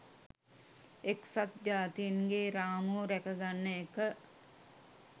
එක්සත් ජාතීන්ගේ රාමුව රැකගන්න එක